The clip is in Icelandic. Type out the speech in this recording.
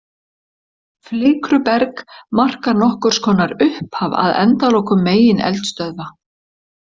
Flikruberg markar nokkurs konar upphaf að endalokum megineldstöðva.